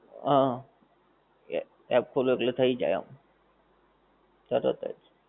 હા app ખોલો એટલે થઇ જાએ આમ ત્યાં ના ત્યાંજ